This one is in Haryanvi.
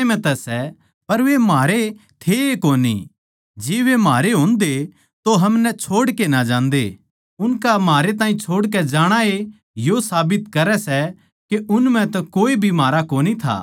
जो संदेस थमनै शुरु तै सुण्या सै जिब थमनै मसीह पै बिश्वास करया जै वो थारै म्ह बण्या रहवै तो थम भी बेट्टे म्ह अर पिता परमेसवर म्ह बणै रहोगे